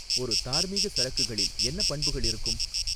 ஒரு தார்மீக சரக்குகளில் என்ன பண்புகள் இருக்கும்